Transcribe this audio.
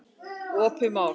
Opið má.